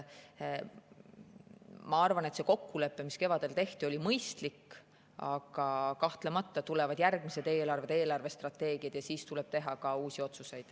Ma arvan, et see kokkulepe, mis kevadel tehti, oli mõistlik, aga kahtlemata tulevad järgmised eelarved ja eelarvestrateegiad ning siis tuleb teha ka uusi otsuseid.